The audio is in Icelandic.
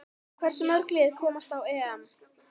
Hversu mörg lið komast á EM?